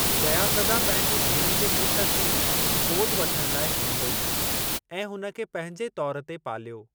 जया प्रदा पंहिंजी भेण जे पुट खे गोदि वठणु लाइ हली वेई ऐं हुन खे पंहिंजे तौर ते पालियो।